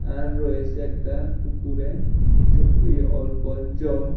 আর রয়েছে একটা পুকুরে ছ এই অল্প জল।